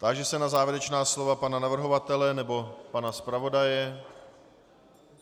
Táži se na závěrečná slova pana navrhovatele nebo pana zpravodaje.